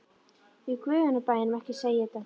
Í guðanna bænum ekki segja þetta.